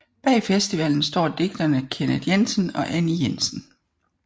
Bag festivalen står digterne Kenneth Jensen og Anni Jensen